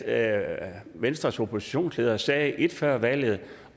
at venstres oppositionsleder sagde et før valget